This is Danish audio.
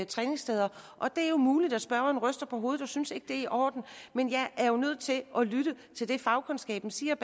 træningssteders det er muligt at spørgeren ryster på hovedet og ikke synes det er i orden men jeg er jo nødt til at lytte til det fagkundskaben siger